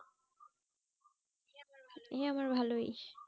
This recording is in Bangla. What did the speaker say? এই আমার ভালোই